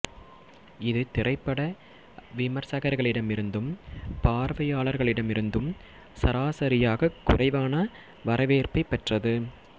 இது திரைப்பட விமர்சகர்களிடமிருந்தும் பார்வையாளர்களிடமிருந்தும் சராசரியாகக் குறைவான வரவேற்பைப் பெற்றது